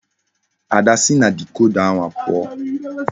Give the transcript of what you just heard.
Ada si na dikoda ahu puo!